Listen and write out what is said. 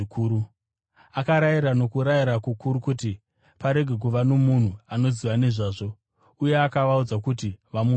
Akarayira nokurayira kukuru kuti parege kuva nomunhu anoziva nezvazvo, uye akavaudza kuti vamupe zvokudya.